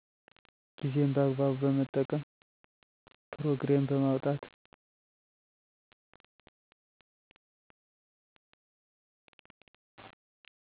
ጊዜን በአግባቡ በመጠቀም። ፕሮግሬም በማውጣት